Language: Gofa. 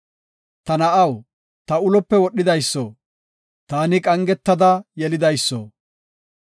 Ta na7aw, ta ulope wodhidayso, taani qangetada yelidayso,